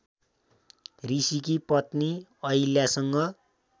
ऋषिकी पत्नी अहिल्यासँग